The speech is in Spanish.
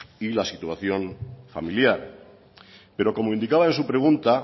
y la situación familiar pero como indicaba en su pregunta